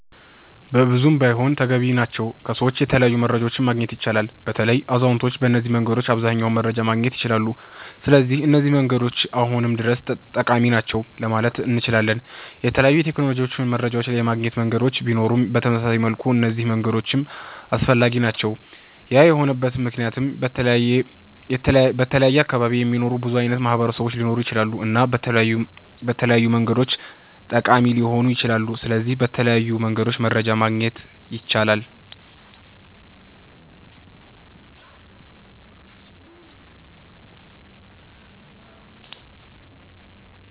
በብዙ ባይሆንም ተገቢ ናቸዉ ከሰዎች የተለያዩ መረጃዎችን ማግኘት ይቻላል። በተለይ አዛዉነቶች በነዚህ መንገዶች አብዘሃኛዉን መረጃ ማግኘት ይችላሉ ስለዚህ እነዚህ መንገዶች አሁንም ድረስ ጠቃሚ ናቸዉ ለማለት እነችላለን። የተለያዩ የቴክኖሎጂ መረጃ የማገኛ መንገዶች ቢኖሩም በተመሳሳይ መልኩ እነዚህ መንገዶችም አስፈላጊ ናቸዉ ያ የሆነበት መክንያት በተለያየ አካባቢ የሚኖሩ ብዙ አይነት ማህበረሰቦች ሊኖሩ ይችላሉ እና በተለያዩ መንገዶች ጠቃሚ ሊሆኑ ይችላሉ። ስለዚህ በተለያዩ መንገድ መረጃ ማግኘት ይቻላል